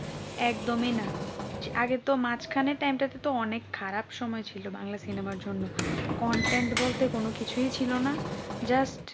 একদমই না আগে তো মাঝখানে time তো অনেক খারাপ সময় ছিল বাংলা cinema তে content বলতে কিছুই ছিল না just